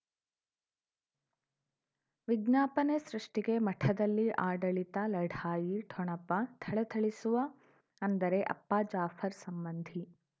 ವಿಜ್ಞಾಪನೆ ಸೃಷ್ಟಿಗೆ ಮಠದಲ್ಲಿ ಆಡಳಿತ ಲಢಾಯಿ ಠೊಣಪ ಥಳಥಳಿಸುವ ಅಂದರೆ ಅಪ್ಪ ಜಾಫರ್ ಸಂಬಂಧಿ